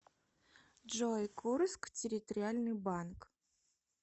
джой курск территориальный банк